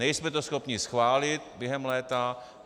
Nejsme to schopni schválit během léta.